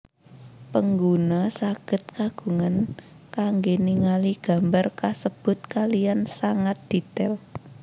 Pengguna sagèd kagungan kanggè ningali gambar kasèbut kaliyan sangat dètail